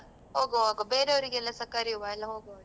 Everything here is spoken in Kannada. ಹೋಗ್ವ ಹೋಗ್ವ ಬೇರೆಯವರಿಗೆಲ್ಲಸ ಕರೆಯುವ ಎಲ್ಲ ಹೋಗ್ವ.